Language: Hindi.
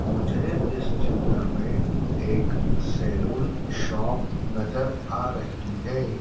मुझे इस चित्र में एक सैलून शॉप नजर आ रही है।